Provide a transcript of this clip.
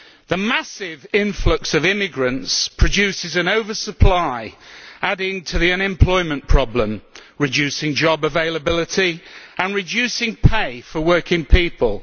The massive influx of immigrants produces an oversupply, adding to the unemployment problem, reducing job availability and reducing pay for working people.